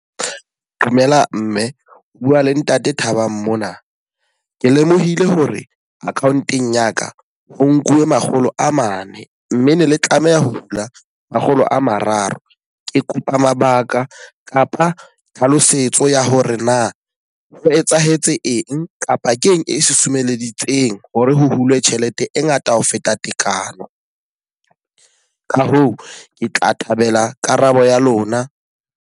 Dumela mme. O bua le ntate Thabang mona. Ke lemohile hore account-eng ya ka, ho nkuwe makgolo a mane mme ne le tlameha ho hula makgolo a mararo. Ke kopa mabaka kapa tlhalosetso ya hore na o etsahetse eng, kapa keng e susumeditse teng hore ho hulwe tjhelete e ngata ho feta tekano? Ka hoo, ke tla thabela karabo ya lona.